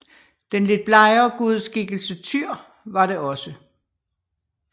Den lidt blegere gudeskikkelse Tyr var det også